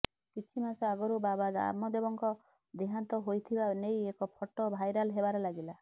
କିଛି ମାସ ଆଗରୁ ବାବା ରାମଦେବଙ୍କ ଦେହାନ୍ତ ହୋଇଥିବା ନେଇ ଏକ ଫଟୋ ଭାଇରାଲ ହେବାରେ ଲାଗିଲା